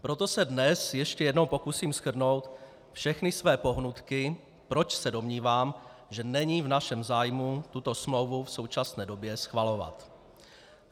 Proto se dnes ještě jednou pokusím shrnout všechny své pohnutky, proč se domnívám, že není v našem zájmu tuto smlouvu v současné době schvalovat.